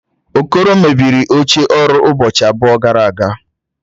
Okoro mebiri oche ọrụ ụbọchị abụọ gara aga